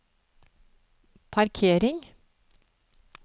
parkering